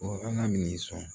ala min sɔn